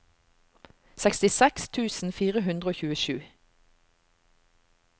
sekstiseks tusen fire hundre og tjuesju